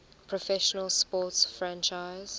professional sports franchise